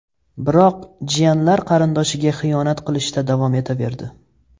Biroq jiyanlar qarindoshiga xiyonat qilishda davom etaverdi.